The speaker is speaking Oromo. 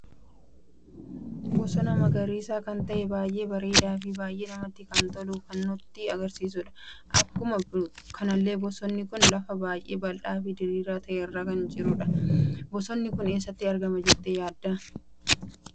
Bosona magariisa kan ta'e baay'ee barreda fi baay'ee namatti kan tolu kan nutti agarsiisuudha. Akkuma kanallee bosonni kun lafa baay'ee baldhaa fi diriira ta'ee irratti kan argamudha. Bosonni kun eessatti argama jette yaadda?